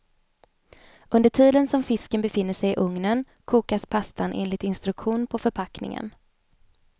Under tiden som fisken befinner sig i ugnen kokas pastan enligt instruktion på förpackningen.